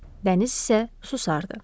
Dəniz isə susardı.